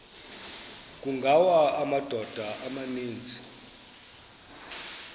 kungawa amadoda amaninzi